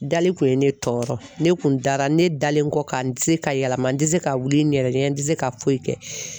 Dali kun ye ne tɔɔrɔ ne kun dara ne dalen kɔ ka n tɛ se ka yɛlɛma n tɛ se ka wuli n yɛrɛ ɲɛ n tɛ se ka foyi kɛ.